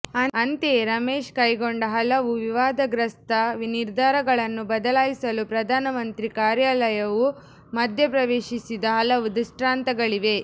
ಅಂತೆಂುೆು ರಮೇಶ್ ಕೈಗೊಂಡ ಹಲವು ವಿವಾದಗ್ರಸ್ತ ನಿರ್ಧಾರಗಳನ್ನು ಬದಲಾಯಿಸಲು ಪ್ರಧಾನಮಂತ್ರಿ ಕಾಂುುಾರ್ಲಂುು ಮಧ್ಯ ಪ್ರವೇಶಿಸಿದ ಹಲವು ದೃಷ್ಟಾಂತಗಳಿವೆ